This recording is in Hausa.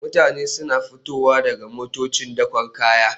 Mutane suna fitowa daga motocin dakon kaya